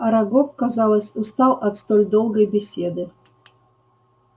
арагог казалось устал от столь долгой беседы